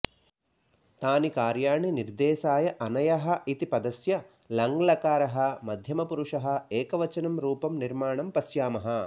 तानि कार्याणि निर्देशाय अनयः इति पदस्य लङ्लकारः मध्यमपुरुषः एकवचनं रूपं निर्माणं पश्यामः